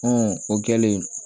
Ɔn o kɛlen